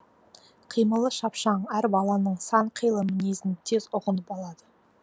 қимылы шапшаң әр баланың сан қилы мінезін тез ұғынып алады